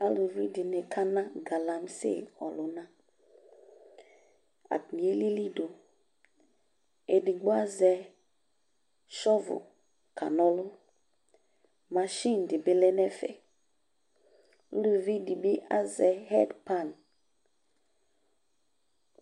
Aalʋviɖini akana galamse lʋnaAtani aliliɖʋƐɖigbo azɛ shɔvre kanɔlʋ machin ,ɖibi lɛnɛfɛƲluviɖibi azɛ headpan